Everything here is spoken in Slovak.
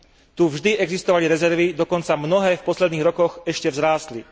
Tu vždy existovali rezervy, dokonca mnohé v posledných rokoch ešte vzrástli.